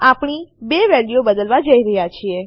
આપણી 2 વેલ્યુઓ બદલવા જઈ રહી છે